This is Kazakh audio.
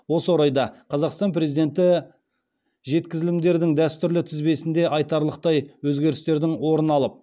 осы орайда қазақстан президенті жеткізілімдердің дәстүрлі тізбесінде айтарлықтай өзгерістердің орын алып